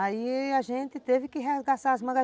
Aí a gente teve que arregaçar as mangas.